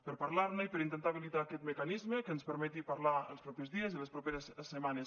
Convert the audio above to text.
per parlar ne i per intentar habilitar aquest mecanisme que ens permeti parlar els propers dies i les properes setmanes